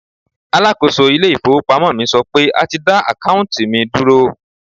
Alákòóso ilé ìfowópamọ́ mi sọ pé a ti dá àkáùntì mi dúró.